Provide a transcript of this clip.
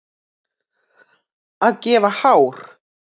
Að gefa hár